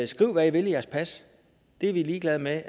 skriv hvad i vil i jeres pas det er vi ligeglade med